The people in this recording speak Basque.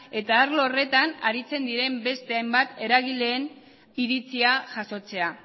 eta arlo horretan aritzen diren beste hainbat eragileen iritzia jasotzea